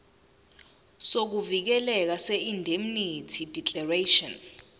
sokuvikeleka seindemnity declaration